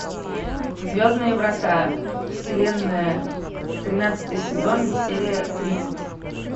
звездные врата вселенная тринадцатый сезон серия тридцать